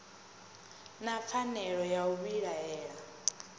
na pfanelo ya u vhilaela